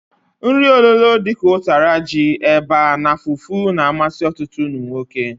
Nri ololo dika utara ji, eba na fufu na-amasi otutu umunwoke.